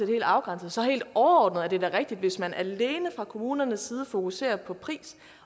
helt afgrænsede helt overordnet er det da rigtigt at hvis man alene fra kommunernes side fokuserer på pris